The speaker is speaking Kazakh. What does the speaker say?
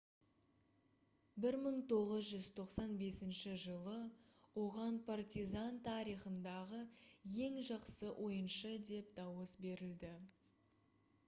1995 жылы оған partizan тарихындағы ең жақсы ойыншы деп дауыс берілді